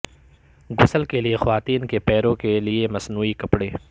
غسل کے لئے خواتین کے پیروں کے لئے مصنوعی کپڑے